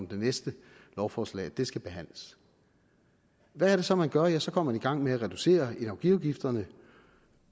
det næste lovforslag det skal behandles hvad er det så man gør ja så går man i gang med at reducere energiafgifterne